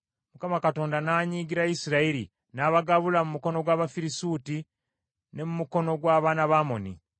Mukama n’anyiigira Isirayiri, n’abagabula mu mukono gw’Abafirisuuti ne mu mukono gw’abaana ba Amoni,